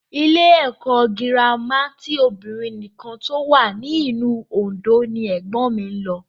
Ilé ẹ̀kọ́ gírámà ti obìnrin nìkan tó wà ní ìlú Òndó ni ẹ̀gbọ́n mi lọ